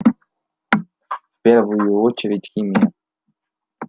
в первую очередь химия